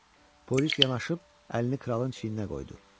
Polis yanaşıb əlini kralın çiyninə qoydu.